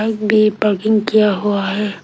भी पार्किंग किया हुआ है।